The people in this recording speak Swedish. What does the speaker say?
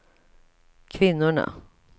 kvinnorna